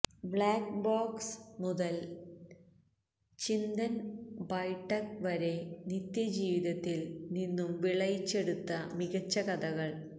black box മുതല് ചിന്തന് ബൈഠക് വരെ നിത്യജീവിതത്തില് നിന്നും വിളയിച്ചെടുത്ത മികച്ച കഥകള്